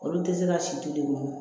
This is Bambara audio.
Olu tɛ se ka si to yen nɔ